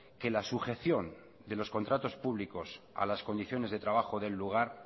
que la sujeción de los contratos públicos a las condiciones de trabajo del lugar